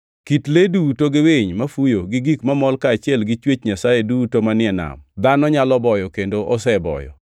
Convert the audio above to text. Kit le duto gi winy mafuyo gi gik mamol kaachiel gi chwech Nyasaye duto manie nam, dhano nyalo boyo kendo oseboyo,